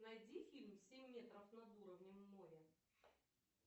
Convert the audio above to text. найди фильм семь метров над уровнем моря